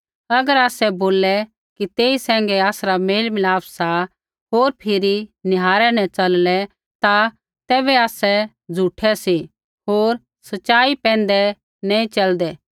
अगर आसै बोललै कि तेई सैंघै आसरा मेलमिलाप सा होर फिरी निहारै न चललै ता तैबै आसै झ़ूठै सी होर सच़ाई पैंधै नैंई च़लदै